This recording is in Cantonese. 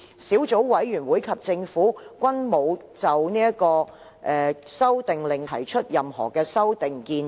小組委員會及政府均沒有就《修訂令》提出任何修訂建議。